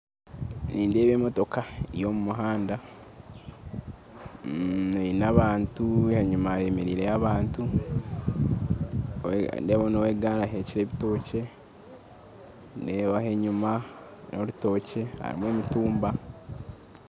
Nindeeba emotoka eri omu muhanda eine abantu enyuma hemereireyo abantu nindeebaho now'egaari aheekire ebitookye nindeeba enyuma n'orutookye harimu emitumba